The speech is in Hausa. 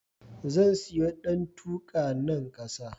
Zan siyo ɗantuka, nan kusa.